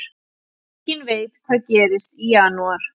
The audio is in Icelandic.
Enginn veit hvað gerist í janúar